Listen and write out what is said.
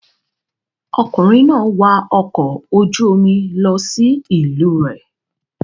Ọkùnrin náà wa ọkọ̀ ojú-omi lọ sí ìlú rẹ̀.